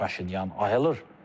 Paşinyan ayılır.